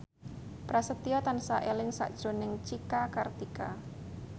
Prasetyo tansah eling sakjroning Cika Kartika